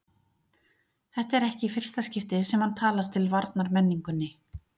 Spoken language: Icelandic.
Þetta er ekki í fyrsta skipti sem hann talar til varnar menningunni.